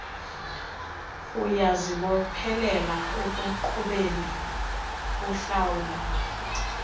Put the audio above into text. uyazibophelela ekuqhubekeni uhlawula